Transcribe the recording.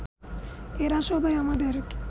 এরা সবাই আমাদের